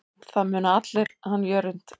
Það muna allir hann Jörund.